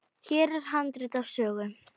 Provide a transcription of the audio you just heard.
Hér er handrit að sögu.